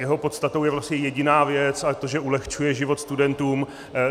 Jeho podstatou je vlastně jediná věc, a to, že ulehčuje život studentům.